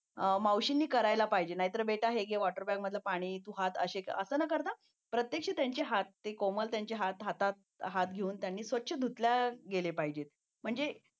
मावशींनी करायला पाहिजे नाहीतर कसा आहे मावशींनी बेटा हे घे वॉटर बॅग मधलं पाणी तू हात असे असं न करता प्रत्यक्ष त्यांचे हात कोमल त्यांचे हात हातात घेऊन धुतले गेले पाहिजेत